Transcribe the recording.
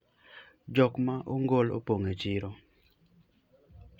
jok ma ongol opong e chiro